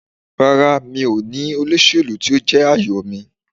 Rárá, mi ò ní olóṣèlú tí ó jẹ́ àyò mi.